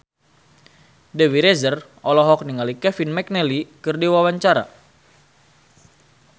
Dewi Rezer olohok ningali Kevin McNally keur diwawancara